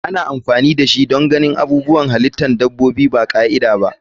Ana amfani dashi don ganin abubuwan halitta dabbobi ba ka'ida ba.